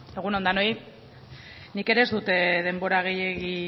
zurea da hitza bueno egun on denoi nik ere ez dut denbora gehiegi